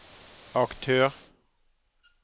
aktør